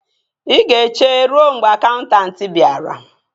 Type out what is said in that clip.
Ị ga-eche ruo mgbe akaụntanti bịara